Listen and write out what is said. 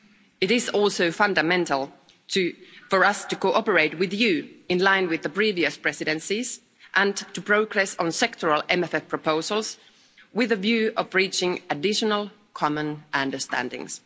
It is also fundamental for us to cooperate with you in line with the previous Presidencies and to progress on sectoral MFF proposals with a view of reaching additional common understandings.